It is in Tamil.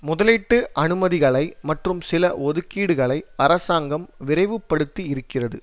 முதலீட்டு அனுமதிகளை மற்றும் நில ஒதுக்கீடுகளை அரசாங்கம் விரைவுபடுத்தி இருக்கிறது